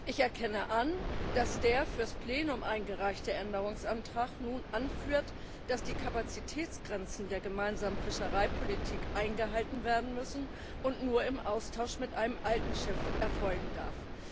Ich erkenne an, dass der für das Plenum eingereichte Änderungsantrag nun anführt, dass die Kapazitätsgrenzen der gemeinsamen Fischereipolitik eingehalten werden müssen und die Finanzierung nur im Austausch mit einem alten Schiff erfolgen darf.